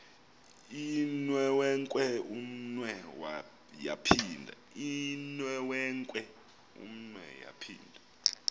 inewenkwe umnwe yaphinda